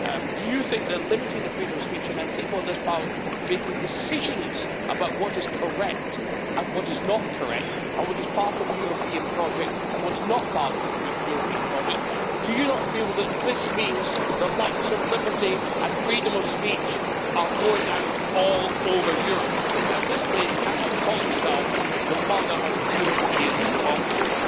do you think that limiting the freedom of speech, and people in this Parliament making decisions about what is correct and what is not correct, and what is part of the European project and what is not part of the European project do you not feel that this means the lights of liberty and freedom of speech are going out all over Europe, and this place cannot call itself the mother of European democracy?